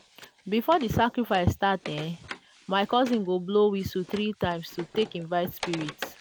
before di sacrifice start ehhn my cousin go blow whistle 3 times to take invite spirits.